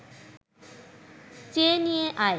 চেয়ে নিয়ে আয়